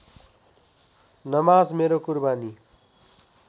नमाज मेरो कुरबानी